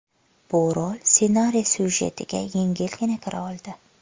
Bu rol ssenariy syujetiga yengilgina kira oldi.